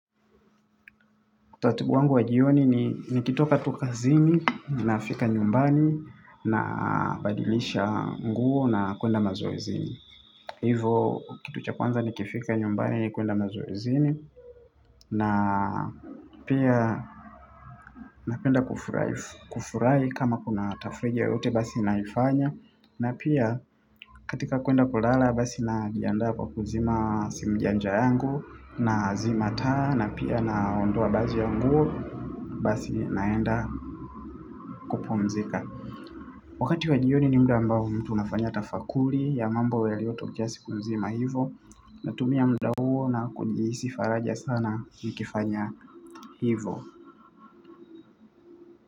Utaratibu wangu wa jioni ni kitoka tu kazini na fika nyumbani na badilisha nguo na kuenda mazoezini. Hivo kitu cha kwanza ni kifika nyumbani ni kuenda mazoezini na pia napenda kufurahi kama kuna tafreja yote basi naifanya. Na pia katika kuenda kulala basi najiandaa kwa kuzima simu janja yangu na zima taa na pia na ondoa baji ya nguo basi naenda kupumzika. Wakati wa jioni ni mda ambao mtu nafanya tafakuli ya mambo yaliyo tokea siku mzima hivo na tumia mda huo na kunjiisifaraja sana nikifanya hivo.